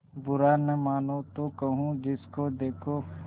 बुरा न मानों तो कहूँ जिसको देखो